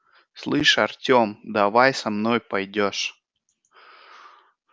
слышь артём давай со мной пойдёшь